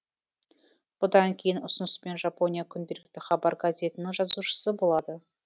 бұдан кейін ұсыныспен жапония күнделікті хабар газетінің жазушысы болады